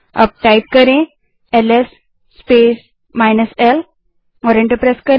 अब ls space -l type करें और एंटर दबायें